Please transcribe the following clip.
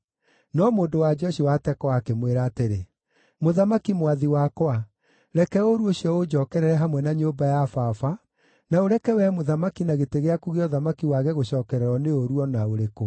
No mũndũ-wa-nja ũcio wa Tekoa akĩmwĩra atĩrĩ, “Mũthamaki mwathi wakwa, reke ũũru ũcio ũnjookerere hamwe na nyũmba ya baba, na ũreke wee mũthamaki na gĩtĩ gĩaku gĩa ũthamaki wage gũcookererwo nĩ ũũru o na ũrĩkũ.”